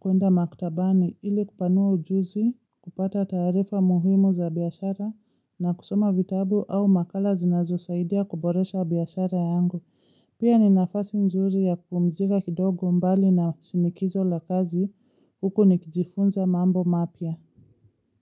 kuenda maktabani ili kupanua ujuzi, kupata tarifa muhimu za biashara na kusoma vitabu au makala zinazosaidia kuboresha biashara yangu. Pia ni nafasi nzuri ya kupumzika kidogo mbali na shinikizo la kazi huku nikijifunza mambo mapya.